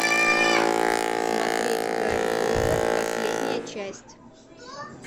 смотреть гарри поттер последняя часть